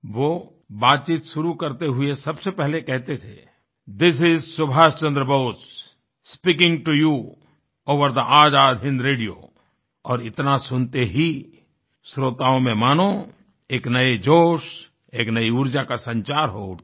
वो बातचीत शुरू करते हुए सबसे पहले कहतेथे this is Subhash Chandra Bose speaking to you over the Azad Hind radio और इतना सुनते ही श्रोताओं में मानो एक नए जोश एक नई ऊर्जा का संचार हो उठता